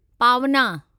पावना